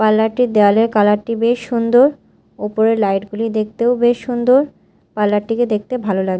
Parlour -টির দেয়ালের colour -টি বেশ সুন্দর ওপরের লাইট -গুলি দেখতেও বেশ সুন্দর পার্লার -টিকে দেখতে ভালো লাগে।